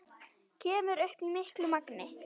Kemur upp í miklu magni.